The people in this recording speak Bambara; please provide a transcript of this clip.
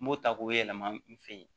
N b'o ta k'o yɛlɛma n fe yen